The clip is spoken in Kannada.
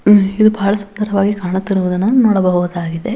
ಇದು ಬಹಳ ಸುಂದರವಾಗಿ ಕಾಣುತ್ತಿರುವುದನ್ನು ನಾವು ನೋಡಬಹುದಾಗಿದೆ.